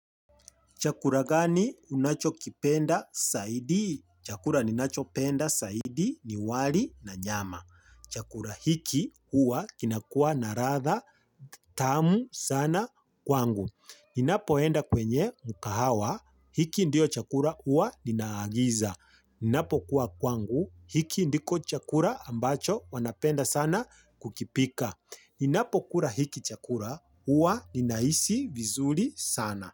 Chakura gani unacho kipenda saidi? Chakura ninacho penda saidi ni wali na nyama. Chakura hiki huwa kinakuwa na radha tamu sana kwangu. Ninapoenda kwenye mukahawa hiki ndio chakura huwa ninaagiza. Ninapo kuwa kwangu hiki ndiko chakura ambacho wanapenda sana kukipika. Ninapo kura hiki chakura uwa ninaisi vizuli sana.